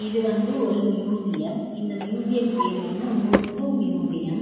இது வந்து ஒரு மியுசியம் இந்த மியுசியம் பேரு வந்து முத்து மியுசியம் .